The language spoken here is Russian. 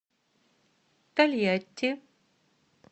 тольятти